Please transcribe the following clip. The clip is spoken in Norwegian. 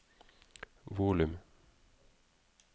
volum